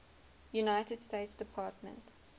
united states department